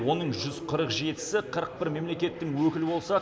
оның жүз қырық жетісі қырық бір мемлекеттің өкілі болса